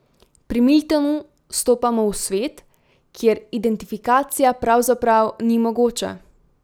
Pri Miltonu stopamo v svet, kjer identifikacija pravzaprav ni mogoča.